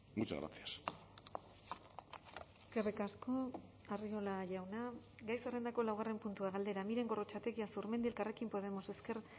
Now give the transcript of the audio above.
muchas gracias eskerrik asko arriola jauna gai zerrendako laugarren puntua galdera miren gorrotxategi azurmendi elkarrekin podemos ezker